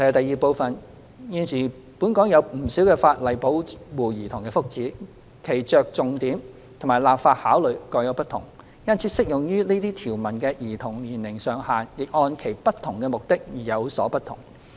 二現時本港有不少法例保護兒童的福祉，其着重點及立法考慮各有不同，因此適用於這些條文的兒童年齡上限也按其不同目的而有所不同。